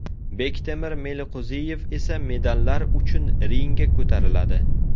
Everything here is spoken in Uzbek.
Bektemir Meliqo‘ziyev esa medallar uchun ringga ko‘tariladi.